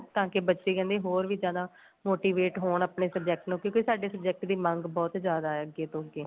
ਤਾਂ ਕੇ ਬੱਚੇ ਕਹਿੰਦੇ ਹੋਰ ਵੀ ਜਿਆਦਾ motivate ਹੋਣ ਆਪਣੇ subject ਨੂੰ ਕਿਉਂਕਿ ਸਾਡੇ subject ਦੀ ਮੰਗ ਬਹੁਤ ਜਿਆਦਾ ਏ ਅੱਗੇ ਤੋਂ ਅੱਗੇ